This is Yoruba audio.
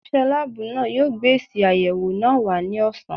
Onise láàbù náà yo gbé èsì ayẹwo náà wá ní ọ̀sán